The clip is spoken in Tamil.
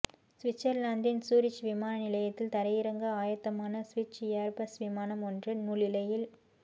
சுவிட்சர்லாந்தின் சூரிச் விமான நிலையத்தில் தரையிறங்க ஆயத்தமான சுவிஸ் ஏர்பஸ் விமானம் ஒன்று நூலிழையில்